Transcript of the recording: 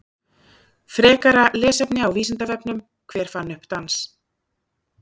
Frekara lesefni á Vísindavefnum: Hver fann upp dans?